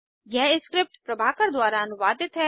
यह स्क्रिप्ट प्रभाकर द्वारा अनुवादित है